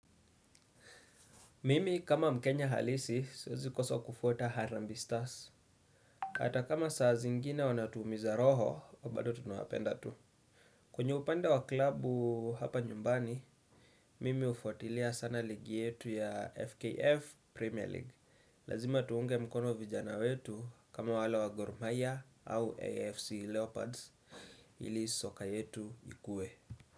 Mimi kama mkenya halisi, siwezi koso kufuata Harambe Stars. Ata kama saa zingine wanatuumiza roho, bado tunawapenda tu. Kwenye upande wa klubu hapa nyumbani, mimi hufuatilia sana ligi yetu ya FKF Premier League. Lazima tuunge mkono vijana wetu kama wale wa Gormahia au AFC Leopards, ili soka yetu ikue.